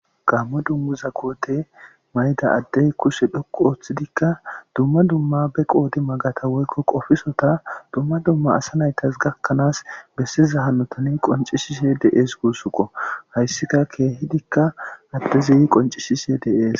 gammo dummuza koote mayda addey kuse dhoqo ooththidikka dumma dumma be qoodi magata woykko qofisota dumma dumma asa naytas gakkanaas bessiza hanotani qoncishise de7ees guussuqo hayssika keehidikka addezi qoncishise deees